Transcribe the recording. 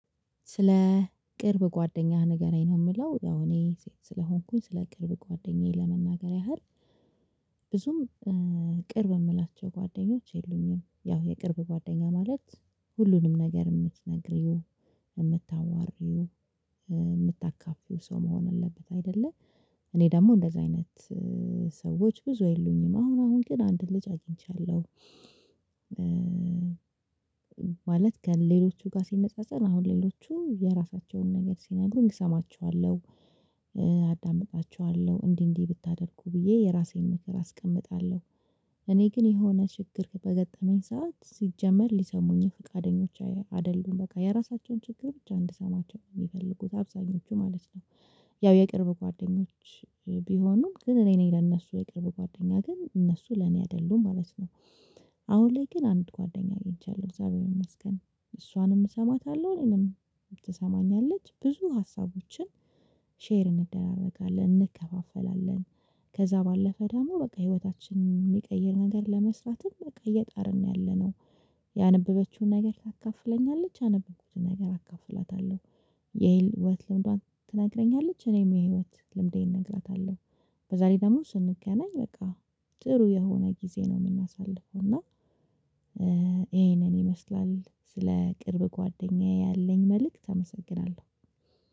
ስለ ቅርብ ጓደኛህ ንገረኝ ነው? የሚለው ያው እኔ ስለሆንኩኝ ስለ ቅርብ ጓደኛዬ ለመናገር ያህል ብዙም ቅርብ የምላቸው ጓደኞች የሉኝም። ያው የቅርብ ጓደኛ ማለት ሁሉንም ነገር የምትነግሪው የምታዋሪው የምታካፍዪው ሰው መሆን አለበት። አይደለ እኔ ደግሞ እንደዚህ አይነት ሰዎች ብዙ የሉኝም። አሁን አሁን ግን አንድ ልጅ አግኝቻለሁ ቻለው ማለት ግን ሌሎቹ ጋር ሲነጻጸር አሁን ሌሎቹ የራሳቸውን ነገር ሲናገሩኝ እሰማቸዋለሁ አዳምጣቸዋለሁ እንዲህ እንዲህ ብታደርጉ ብዬ የራሴን ምክር አስቀምጣለሁ። እኔ ግን የሆነ ችግር በገጠመኝ ሰዓት ሲጀመር ሊሰሙኝም ፍቃደኞች አይደሉም በቃ የራሳቸውን ችግር ብቻ እንድሰማቸው ነው የሚፈልጉት አብዛኞቹ ማለት ነው። ያው የቅርብ ጓደኞች ቢሆኑም ግን እኔ ነኝ ለእነሱ የቅርብ ጓደኛ ግን እነሱ ለእኔ አይደሉም ማለት ነው። አሁን ላይ ግን አንድ ጓደኛ አግኝቻለሁ እግዚአብሔር ይመስገን እሷንም እሰማታለሁ እኔንም ትሰማኛለች ብዙ ሀሳቦችን ሼር እንደራረጋለን እንከፋፈላለን ከዛ ባለፈ ደግሞ በቃ ህይወታችን የሚቀይር ነገር ለመስራትም በቃ እየጣርን ነው ያለነው። ያነበበችውን ነገር ታካፍለኛለች ያነበብኩውን ነገር አካፍላታለሁ። የህይወት ልምዷን ትነግረኛለች እኔም የህይወት ልምዴን እነግራታለሁ። በዛ ላይ ደግሞ ስንገናኝ በቃ ጥሩ የሆነ ጊዜ ነው የምናሳልፈው። እና ይሄንን ይመስላል ስለ ቅርብ ጓደኛዬ ያለኝ መልእክት አመሰግናለሁ